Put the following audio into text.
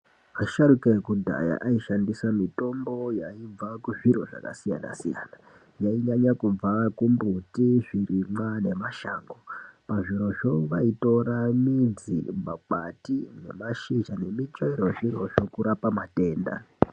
Asharuka ekudhaya aishandisa mutombo yaibva kuzviro zvakasiyana siyana. Yainyanya kubva kumbiti zvirimwa nemashango. Pazvirozvo vaitora midzi makwati nemashisha nemutsvaro yezvirozvo kurapa matenda.